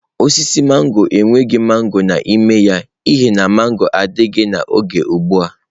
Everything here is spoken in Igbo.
Osisi mangọrọ enweghị mangọrọ n'ime ya n'ihi na mangọrọ adịghị n'oge ugbu a.